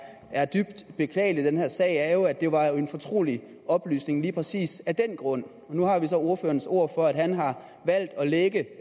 er dybt beklageligt i den her sag er jo at det var en fortrolig oplysning lige præcis af den grund og nu har vi så ordførerens ord for at han har valgt at lække